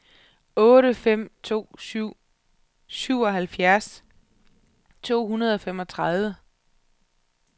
otte fem to syv syvoghalvfjerds to hundrede og femogtredive